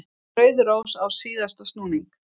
Rauð rós á síðasta snúning.